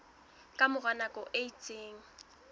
ka mora nako e itseng